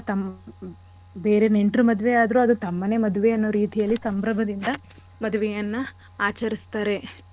ತಂ~ ಬೇರೆ ನೆಂಟ್ರ್ ಮದ್ವೆ ಆದ್ರೂ ಅದು ತಮ್ಮನೆ ಮದ್ವೆ ಅನ್ನೋ ರೀತಿಯಲ್ಲಿ ಸಂಭ್ರಮದಿಂದ ಮದ್ವೆಯನ್ನ ಆಚರಿಸ್ತಾರೆ.